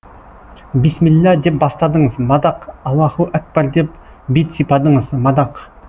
бисмилла деп бастадыңыз мадақ аллаһуакбар деп бет сипадыңыз мадақ